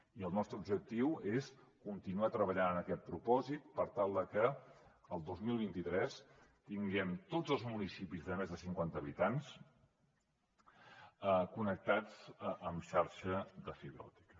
i el nostre objectiu és continuar treballant amb aquest propòsit per tal de que el dos mil vint tres tinguem tots els municipis de més de cinquanta habitants connectats amb xarxa fibra òptica